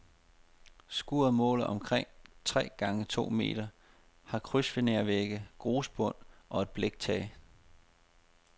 Skuret måler omkring tre gange to meter, har krydsfinervægge, grusbund og et bliktag.